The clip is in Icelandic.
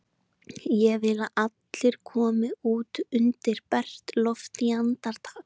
Ég vil að allir komi út undir bert loft í andartak!